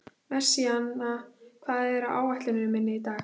Messíana, hvað er á áætluninni minni í dag?